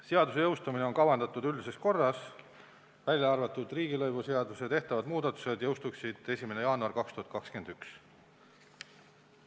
Seaduse jõustumine on kavandatud üldises korras, välja arvatud riigilõivuseaduses tehtavad muudatused, mis jõustuksid 1. jaanuaril 2021.